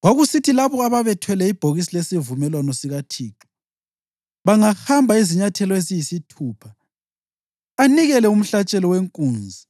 Kwakusithi labo ababethwele ibhokisi lesivumelwano sikaThixo bangahamba izinyathelo eziyisithupha, anikele umhlatshelo wenkunzi